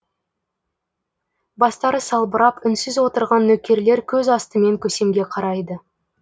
бастары салбырап үнсіз отырған нөкерлер көз астымен көсемге қарайды